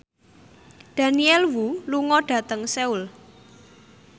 Daniel Wu lunga dhateng Seoul